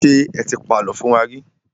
Ṣé ẹ ti pa àlọ́ fún wa rí?